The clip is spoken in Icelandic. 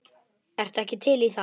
Ertu ekki til í það?